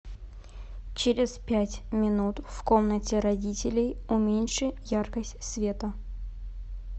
через пять минут в комнате родителей уменьши яркость света